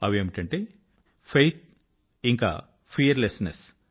అవేమిటంటే faith మరియు fearlessness